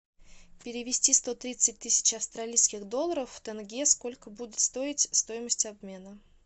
перевести сто тридцать тысяч австралийских долларов в тенге сколько будет стоить стоимость обмена